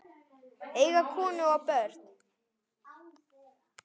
Eiga konu og börn?